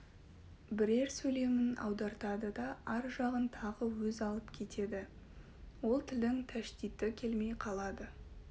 бірер сөйлемін аудартады да ар жағын тағы өз алып кетеді ол тілдің тәштиті келмей қалады